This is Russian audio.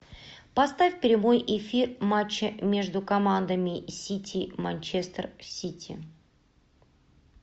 поставь прямой эфир матча между командами сити манчестер сити